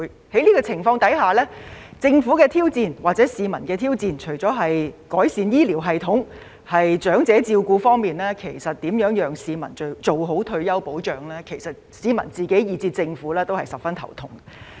在這種情況下，政府或市民面對的挑戰，除了改善醫療系統和長者照顧，如何讓市民做好退休保障亦是令市民及政府十分頭痛的問題。